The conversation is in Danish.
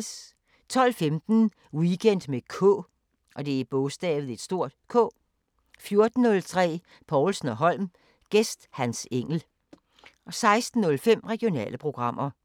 12:15: Weekend med K 14:03: Povlsen & Holm: Gæst Hans Engell 16:05: Regionale programmer